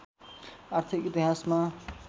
आर्थिक इतिहासमा